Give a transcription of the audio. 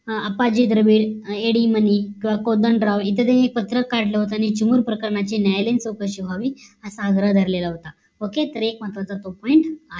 अप्पाजी दरबे एडिमनी किंवा कोदंडराव इथं तेनी एक पत्र काढलं होत आणि चिमुरण प्रकरणाची न्यायालयी चौकशी व्हावी असा आग्रह धरलेले होता. OKAY तर हा एक महत्वाचा point